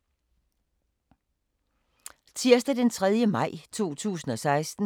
Tirsdag d. 3. maj 2016